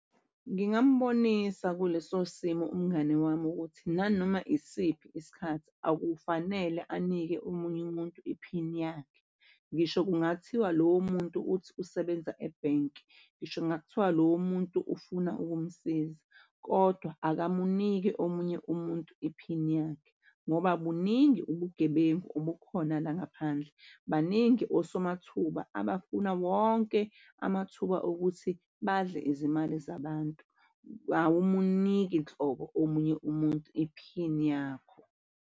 Ngingambonisa kuleso simo umngani wami ukuthi nanoma yisiphi isikhathi akufanele anike omunye umuntu iphini yakhe. Ngisho kungathiwa lowo muntu uthi usebenza ebhenki, ngisho kungakuthiwa lowo muntu ufuna ukumsiza, kodwa akamuniki omunye umuntu iphini yakhe ngoba buningi ubugebengu obukhona la ngaphandle. Baningi osomathuba abafuna wonke amathuba okuthi badle izimali zabantu. Awumuniki nhlobo omunye umuntu iphini yakho.